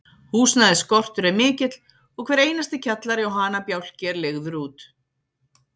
Húsnæðisskortur er mikill, og hver einasti kjallari og hanabjálki er leigður út.